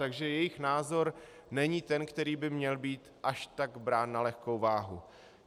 Takže jejich názor není ten, který by měl být až tak brán na lehkou váhu.